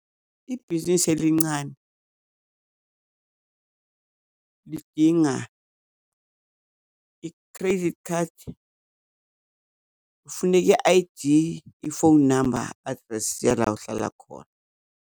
Ibhizinisi elincane lidinga i-credit card. Kufuneka i-I_D, phone number, i-address yala uhlala khona.